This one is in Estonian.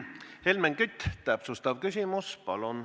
Helmen Kütt, täpsustav küsimus, palun!